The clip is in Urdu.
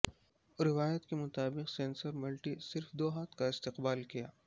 روایت کے مطابق سینسر ملٹی صرف دو ہاتھ کا استقبال کیا